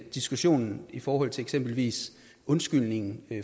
diskussionen i forhold til eksempelvis undskyldningen